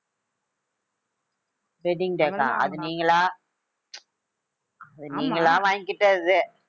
wedding day க்கா அது நீங்களா அது நீங்களா வாங்கிக்கிட்டது